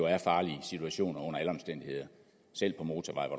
er farlige situationer selv på motorvejen